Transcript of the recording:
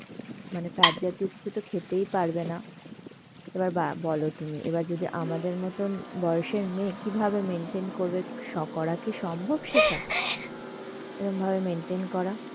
মানে fat জাতীয় কিছু তো খেতেই পারবে না. এবার বা~ বল তুমি এবার যদি আমাদের মতন বয়সের মেয়ে কীভাবে maintain করবে? স~ করা কি সম্ভব সেটা, এরাম ভাবে maintain করা?